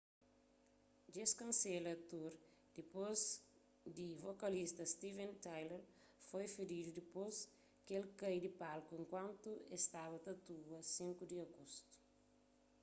dje-s kansela tour dipôs di vokalista steven tyler foi feridu dipôs ki el kai di palku enkuantu es staba ta atua 5 di agostu